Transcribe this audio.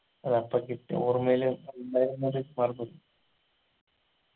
അതപ്പൊ കിട്ടിയ ഓർമ്മയില് മറന്ന് പോയി